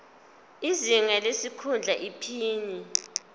izinga lesikhundla iphini